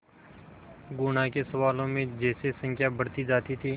गुणा के सवालों में जैसे संख्या बढ़ती जाती थी